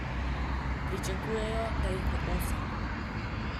Pričakujejo, da jih bo osem.